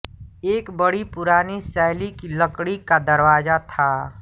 एक बड़ी पुरानी शैली की लकड़ी का दरवाजा था